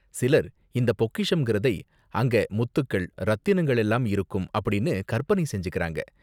சிலர் இந்த பொக்கிஷம் ங்கிறதை அங்க முத்துக்கள், ரத்தினங்கள் எல்லாம் இருக்கும் அப்படின்னு கற்பனை செஞ்சுகிறாங்க.